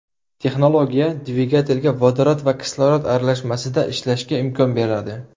Texnologiya dvigatelga vodorod va kislorod aralashmasida ishlashga imkon beradi.